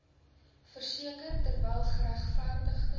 verseker terwyl geregverdigde